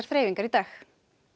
þreifingum í dag